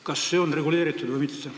Kas see on reguleeritud või mitte?